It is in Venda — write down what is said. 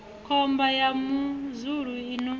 khomba ya muzulu i no